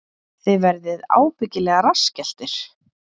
Þið verðið ábyggilega rassskelltir